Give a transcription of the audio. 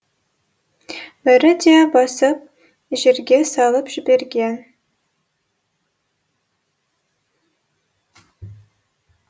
бәрі де басын жерге салып жіберген